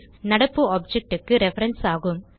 நடப்பு ஆப்ஜெக்ட் க்கு ரெஃபரன்ஸ் ஆகும்